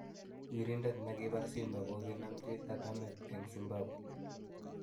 wirindet negipar Simba kogaginemji katameet en Zibambwe